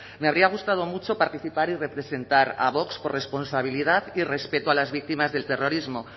me habría gustado mucho participar y representar a vox por responsabilidad y respeto a las víctimas del terrorismo